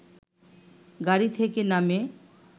গাড়ি থেকে নামে